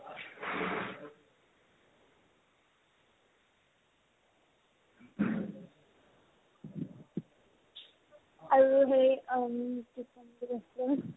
আৰু হেৰি অম্ কি ক'ম বুলি ভাবিছিলো